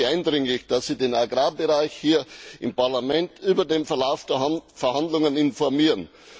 Ich bitte Sie eindringlich, dass Sie den Agrarbereich hier im Parlament über den Verlauf der Verhandlungen informieren.